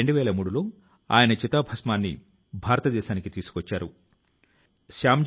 సహచరులారా ఈ అందమైన వీడియో ఎక్కడిది ఏ దేశం నుండి వచ్చింది అని మీరు ఆలోచిస్తూ ఉంటారు